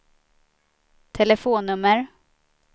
telefonnummer